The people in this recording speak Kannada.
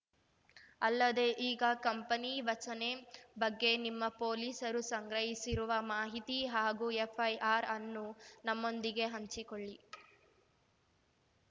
ಅಲ್ಲದೆ ಈಗ ಕಂಪನಿ ವಚನೆ ಬಗ್ಗೆ ನಿಮ್ಮ ಪೊಲೀಸರು ಸಂಗ್ರಹಿಸಿರುವ ಮಾಹಿತಿ ಹಾಗೂ ಎಫ್‌ಐಆರ್‌ ಅನ್ನು ನಮ್ಮೊಂದಿಗೆ ಹಂಚಿಕೊಳ್ಳಿ